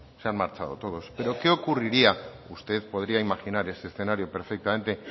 se han marchado todos pero qué ocurriría usted podría imaginar ese escenario perfectamente